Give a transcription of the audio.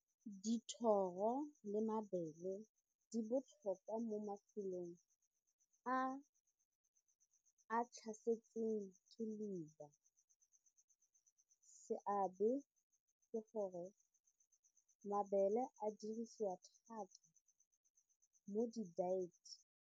Dithoro le mabele di botlhokwa mo mafelong a a tlhasetseng ke leuba, seabe ke gore mabele a dirisiwa thata mo di-diet.